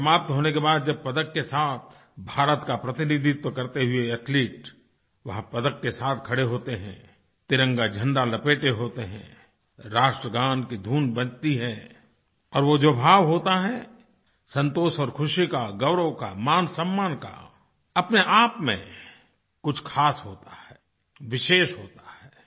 match समाप्त होने के बाद जब पदक के साथ भारत का प्रतिनिधित्व करते हुए एथलीट वहाँ पदक के साथ खड़े होते हैं तिरंगा झंडा लपेटे होते हैं राष्ट्रगान की धुन बजती है और वो जो भाव होता है संतोष और खुशी का गौरव का मानसम्मान का अपने आप में कुछ ख़ास होता है विशेष होता है